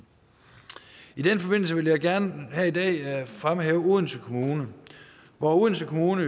i den forbindelse vil jeg gerne her i dag fremhæve odense kommune odense kommune